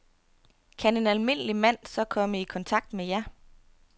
Kan en almindelig mand så komme i kontakt med jer?